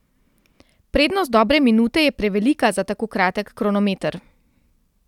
Prednost dobre minute je prevelika za tako kratek kronometer.